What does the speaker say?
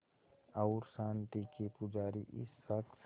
और शांति के पुजारी इस शख़्स